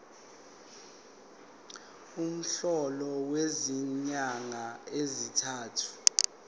umholo wezinyanga ezintathu